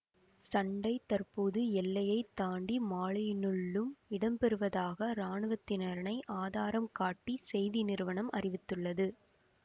சண்டை தற்போது எல்லையை தாண்டி மாலியினுள்ளும் இடம்பெறுவதாக இராணுவத்தினரை ஆதாரம் காட்டி செய்தி நிறுவனம் அறிவித்துள்ளது